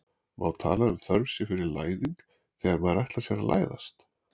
má tala um þörf sé fyrir læðing þegar maður ætlar sér að læðast